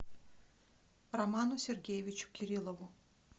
роману сергеевичу кириллову